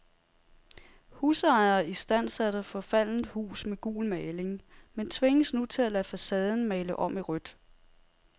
Husejer istandsatte forfaldent hus med gul maling, men tvinges nu til at lade facaden male om i rødt.